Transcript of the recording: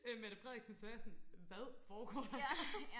øh Mette Frederiksen så var jeg sådan hvad foregår der